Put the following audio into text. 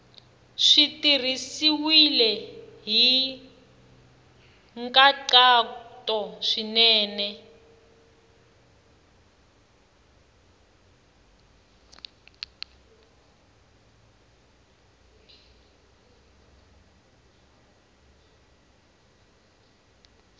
swi tirhisiwile hi nkhaqato swinene